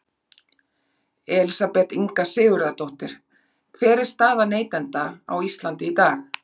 Elísabet Inga Sigurðardóttir: Hver er staða neytenda á Íslandi í dag?